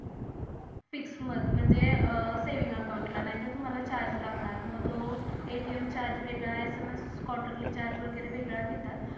Six month म्हणजे saving account ला नाही तर तुम्हाला चार्ज लागणार मग तो ATM चार्ज वेगड SMS क्वार्टरली चार्ज वगेरे वेगडा घेतात.